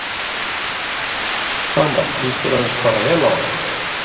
Dagmar: Líst þér annars bara vel á hann?